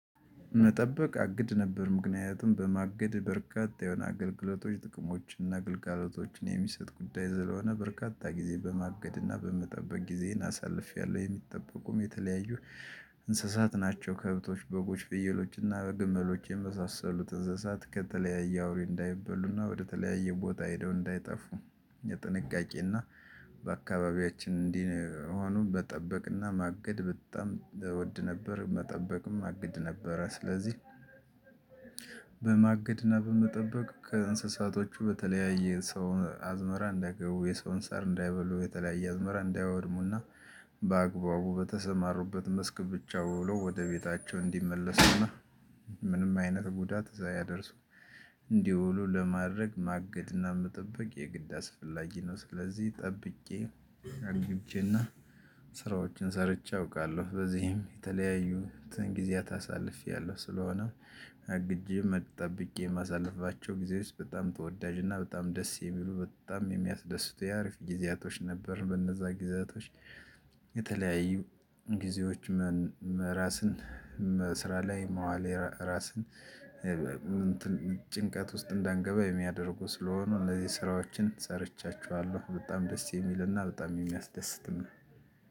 መጠበቅ አግድ ነበር ምክንያቱም በማገድ በርካታ የሆነ አገልግሎቶች ጥቅሞችን እና ግልጋሎቶችን የሚሰጥ ጉዳይ ዘለሆነ በርካታ ጊዜ በማገድና በመጠበቅ ጊዜን አሳልፌያለሁ የሚጠበቁም የተለያዩ እንስሳት ናቸው ከብቶች በጎች ፍየሎችና በግመሎች የመሳሰሉት እንስሳት ከተለያየ አውሬ እንዳይበሉና ወደተለያየ ቦታ ሄደው እንዳይጠፉ የጥንቃቄና በአካባቢያችን እንዲህ ሆኖ መጠበቅና ማገድ በጣም እወድ ነበር። መጠበቅም አግድ ነበረ ስለዚህ። በማግድና በመጠበቅ ከእንስሳቶቹ በተለያየ ሰው አዝመራ እንዳይገቡ የሰውን ሰር እንዳይበሉ የተለያየ አዝመራ እንዳያወድሙና በአግባቡ በተሰማሩበት መስክ ብቻ ወሎ ወደ ቤታቸው እንዲመለሱና ምንም አይነት ጉዳት እዛ አያደርሱም። እንዲህ ወሎ ለማድረግ ማገድና መጠበቅ የግድ አስፈላጊ ነው። ስለዚህ ጠብቄ አግቼና ስራዎችን ሰርቼ አውቃለሁ በዚህም የተለያዩ ጊዜያት አሳልፌያለሁ። ስለሆነ አግጄ መጥ ጠብቄ ማሳለፍባቸው ጊዜ ውስጥ በጣም ተወዳጅ እና በጣም ደስ የሚሉ በጣም የሚያስደስቱ የአሪፍ ጊዜያቶች ነበር። በነዛ ጊዜያቶች የተለያዩ ጊዜዎች ራስን ስራ ላይ መዋል ራስን ጭንቀት ውስጥ እንዳንገባ የሚያደርጉ ስለሆኑ እነዚህ ስራዎችን ሰርቻችኋለሁ በጣም ደስ የሚልና በጣም የሚያስደስት ነው።